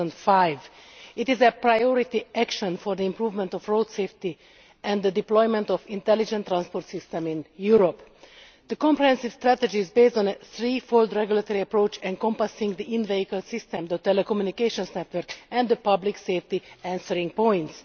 2005. It is a priority action for the improvement of road safety and the deployment of an intelligent transport system in Europe. The comprehensive strategy is built on a threefold regulatory approach encompassing the in vehicle system, the telecommunications network and the Public Safety Answering Points.